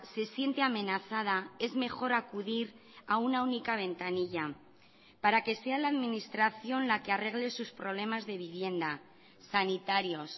se siente amenazada es mejor acudir a una única ventanilla para que sea la administración la que arregle sus problemas de vivienda sanitarios